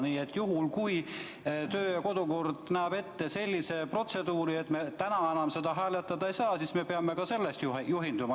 Nii et juhul, kui kodu- ja töökorra seadus näeb ette sellise protseduuri, et me täna seda küsimust enam hääletada ei saa, siis me peaksimegi sellest juhinduma.